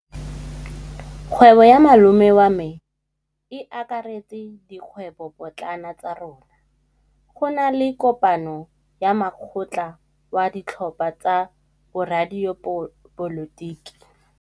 Kgwêbô ya malome wa me e akaretsa dikgwêbôpotlana tsa rona. Go na le kopanô ya mokgatlhô wa ditlhopha tsa boradipolotiki.